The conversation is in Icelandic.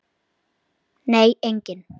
Minning hans mun lifa.